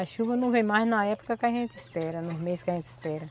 A chuva não vem mais na época que a gente espera, nos mês que a gente espera.